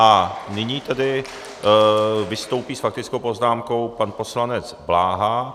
A nyní tedy vystoupí s faktickou poznámkou pan poslanec Bláha.